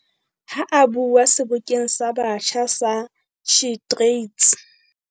Ha a bua Sebokeng sa Batjha sa SheTrades